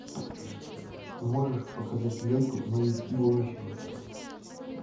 можешь показать ленту мы из будущего